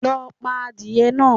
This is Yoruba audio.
Lo pa adìye náa